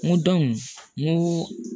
N ko n ko